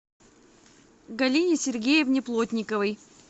галине сергеевне плотниковой